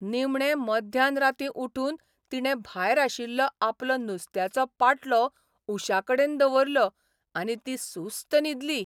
निमणें मध्यान रार्ती उठून तिणें भायर आशिल्लो आपलो नुस्त्याचो पाटलो उश्याकडेन दवरलो आनी ती सुस्त न्हिदली.